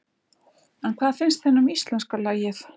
En hvað finnst henni um íslenska lagið?